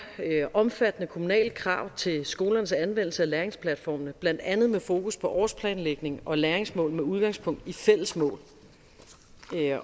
omfattende kommunale krav til skolernes anvendelse af læringsplatformene blandt andet med fokus på årsplanlægning og læringsmål med udgangspunkt i fællesmål